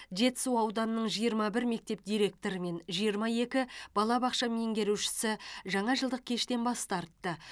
жетісу ауданының жиырма бір мектеп директоры мен жиырма екі балабақша меңгерушісі жаңажылдық кештен бас тартты